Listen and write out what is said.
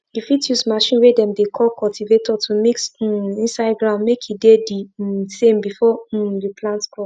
you fit use machine way dem dey call cultivator to mix um inside ground make e dey the um same before um you plant crop